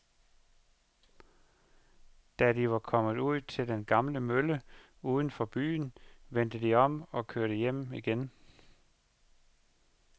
Da de var kommet ud til den gamle mølle uden for byen, vendte de om og kørte hjem igen.